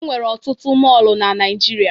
E nwere ọtụtụ mọọlụ na Naịjirịa.